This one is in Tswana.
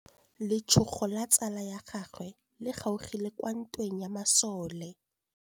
Letsôgô la tsala ya gagwe le kgaogile kwa ntweng ya masole.